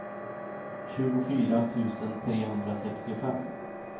tjugofyra tusen trehundrasextiofem